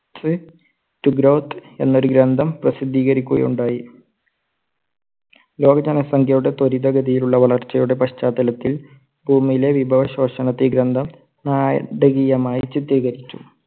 എന്നൊരു ഗ്രന്ഥം പ്രസിദ്ധികരിക്കുകയുണ്ടായി. ലോക ജനസംഖ്യയുടെ തൊരിതഗതിയിലുള്ള വളർച്ചയുടെ പശ്ചാത്തലത്തിൽ ഭൂമിയിലെ വിഭവശോഷണത്തെ ഈ ഗ്രന്ഥം നാടകീയമായി ചിത്രീകരിച്ചു.